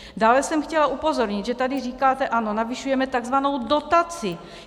Dále jsem chtěla upozornit, že tady říkáte ano, navyšujeme tzv. dotaci.